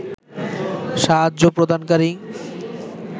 সাহায্য প্রদানকারী